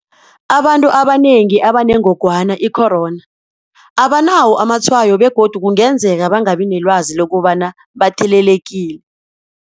Abantu abanengi abanengogwana i-corona abanawo amatshwayo begodu kungenzeka bangabi nelwazi lokobana bathelelekile.